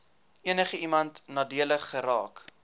enigiemand nadelig geraak